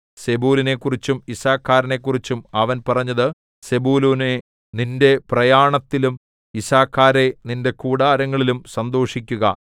സെബൂലൂനെക്കുറിച്ചും യിസ്സഖാരിനെക്കുറിച്ചും അവൻ പറഞ്ഞത് സെബൂലൂനേ നിന്റെ പ്രയാണത്തിലും യിസ്സാഖാരേ നിന്റെ കൂടാരങ്ങളിലും സന്തോഷിക്കുക